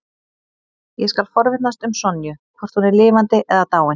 Ég skal forvitnast um Sonju, hvort hún er lifandi eða dáin.